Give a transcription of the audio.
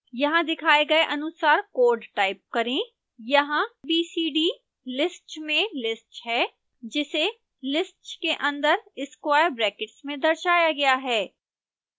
यहाँ दिखाए गए अनुसार कोड टाइप करें: यहाँ b c d list में list है जिसे list के अंदर square brackets में दर्शाया गया है